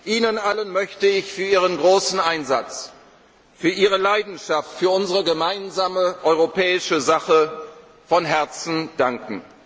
Leistung. Ihnen allen möchte ich für Ihren großen Einsatz, für Ihre Leidenschaft für unsere gemeinsame europäische Sache von Herzen